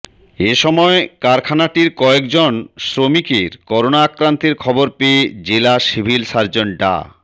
এসময় কারখানাটির কয়েকজন শ্রমিকের করোনা আক্রান্তের খবর পেয়ে জেলা সিভিল সার্জন ডা